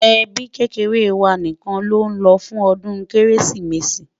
ẹbí kékeré wà nìkan ló ló fún odún kérésìmesì